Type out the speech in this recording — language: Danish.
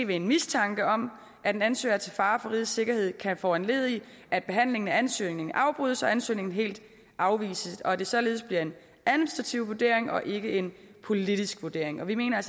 ved en mistanke om at en ansøger er til fare for rigets sikkerhed kan foranledige at behandlingen af ansøgningen afbrydes og ansøgningen helt afvises og at det således bliver en administrativ vurdering og ikke en politisk vurdering og vi mener